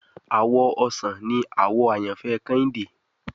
Àwọ̀ ọsàn ní àwò àyànfẹ Kehinde